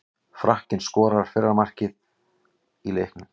Frakkinn skoraði fyrra markið í leiknum.